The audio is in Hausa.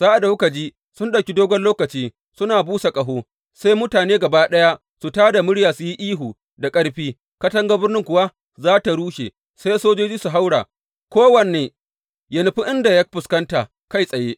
Sa’ad da kuka ji sun ɗauki dogon lokaci suna busa ƙaho, sai mutane gaba ɗaya su tā da murya su yi ihu da ƙarfi; katangar birnin kuwa za tă rushe, sai sojoji su haura, ko wanne yă nufi inda ya fuskanta kai tsaye.